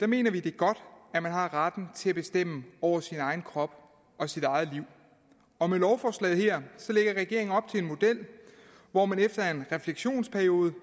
mener vi det er godt at man har retten til at bestemme over sin egen krop og sit eget liv og med lovforslaget her lægger regeringen op til en model hvor man efter en refleksionsperiode på